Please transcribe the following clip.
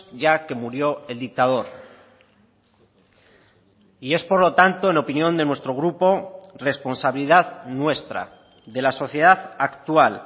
ya que murió el dictador y es por lo tanto en opinión de nuestro grupo responsabilidad nuestra de la sociedad actual